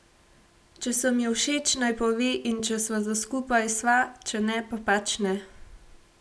Če sem ji všeč, naj pove in če sva za skupaj sva, če ne pa pač ne.